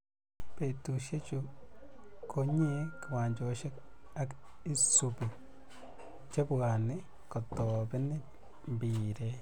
Betushe chu ko nyee kiwanjoshe ak isubii che bwanii kotoben mpiret.